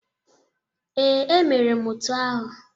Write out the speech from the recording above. Ee, emere m otu ahụ.